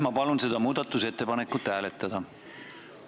Ma palun seda muudatusettepanekut hääletada!